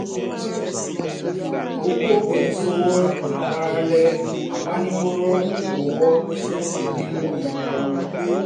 ọ̀pọ̀ oníṣòwò ń gbára lé agbaninímọ̀ràn owó fún ìpinnu ináwó